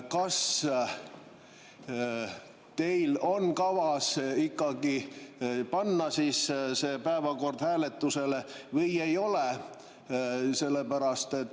Kas teil on kavas ikkagi panna see päevakord hääletusele või ei ole?